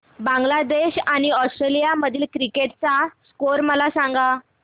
बांगलादेश आणि ऑस्ट्रेलिया मधील cricket match चा स्कोअर मला सांगा